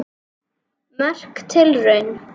Merk tilraun